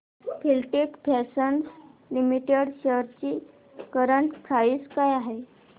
Filatex fashions limited shares ची current price काय आहे